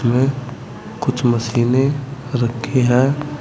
में कुछ मशीनें रखी है।